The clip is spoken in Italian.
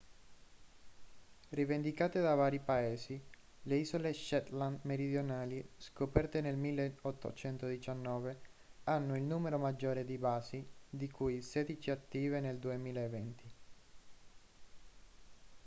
rivendicate da vari paesi le isole shetland meridionali scoperte nel 1819 hanno il numero maggiore di basi di cui sedici attive nel 2020